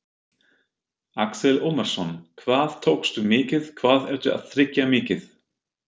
Axel Ómarsson: Hvað tókstu mikið, hvað ertu að tryggja mikið?